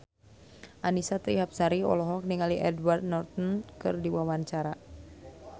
Annisa Trihapsari olohok ningali Edward Norton keur diwawancara